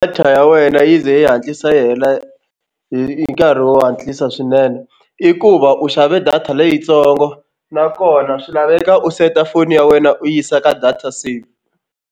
Data ya wena yi ze yi hatlisa yi hela hi hi nkarhi wo hatlisa swinene i ku va u xave data leyintsongo nakona swi laveka u seta foni ya wena u yisa ka data save.